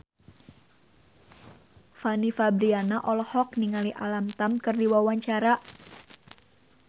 Fanny Fabriana olohok ningali Alam Tam keur diwawancara